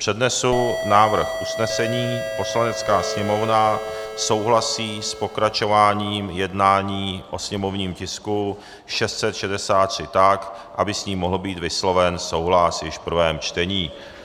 Přednesu návrh usnesení: "Poslanecká sněmovna souhlasí s pokračováním jednání o sněmovním tisku 663 tak, aby s ním mohl být vysloven souhlas již v prvém čtení."